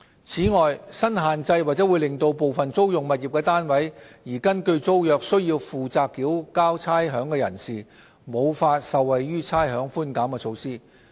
此外，新限制或會令部分租用物業單位而根據租約須負責繳交差餉的人士，無法受惠於差餉寬減措施。